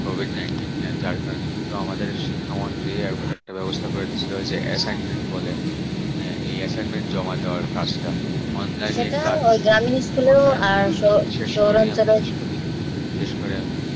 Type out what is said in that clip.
COVIDnineteen যার কারণে কিন্তু আমাদের শিক্ষা একবার একটা ব্যবস্থা করে দিয়েছিল assignment এই assignment জমা দেওয়ার কাজটা online শেষ করে আমি